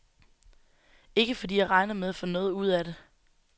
Ikke fordi jeg regner med at få noget ud af det.